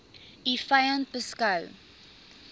u vyand beskou